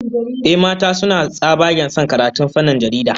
Ehh, mata suna tsabagen son karatun fannin jarida